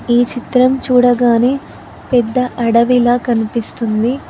ఈ చిత్రం చూడగానే పెద్ద అడవిలా కనిపిస్తుంది.